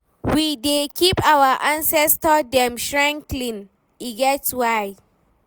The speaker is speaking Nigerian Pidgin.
We dey keep our ancestor dem shrine clean, e get why.